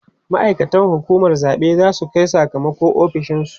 ma'aikatan hukumar zaɓe zasu Kai Saka mako ofishinsu